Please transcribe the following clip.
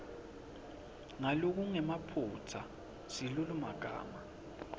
ngalokungenamaphutsa silulumagama